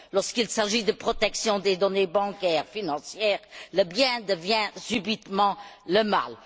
Lorsqu'il s'agit de la protection des données bancaires et financières, le bien devient subitement le mal.